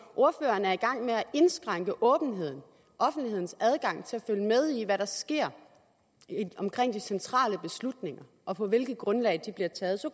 ordføreren er i gang med at indskrænke åbenheden offentlighedens adgang til at følge med i hvad der sker omkring de centrale beslutninger og på hvilket grundlag de bliver taget så